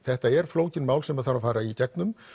þetta eru flókin mál sem þarf að fara í gegnum